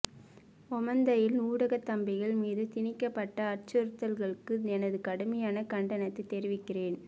ஓமந்தையில் ஊடகத் தம்பிகள் மீது திணிக்கப்பட்ட அச்சுறுத்தல்களுக்கு எனது கடுமையான கண்டனத்தை தெரிவிக்கிறேன்